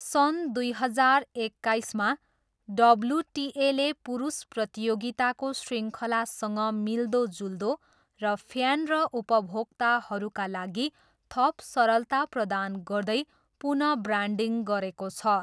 सन् दुई हजार एक्काइसमा, डब्ल्युटिएले पुरुष प्रतियोगिताको शृङ्खलासँग मिल्दोजुल्दो र फ्यान र उपभोक्ताहरूका लागि थप सरलता प्रदान गर्दै पुन ब्रान्डिङ गरेको छ।